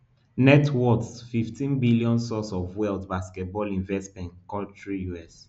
net worth fifteen billion source of wealth basketball investments country us